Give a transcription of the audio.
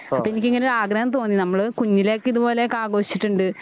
അപ്പോ എനിക്ക് ഇങ്ങനെ ഒരു ആഗ്രഹം തോന്നി നമ്മള് കുഞ്ഞിലെയൊക്കെ ഇതുപോലെയൊക്കെ ആഘോഷിച്ചിട്ടുണ്ട്.